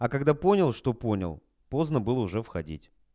а когда понял что понял поздно было уже входить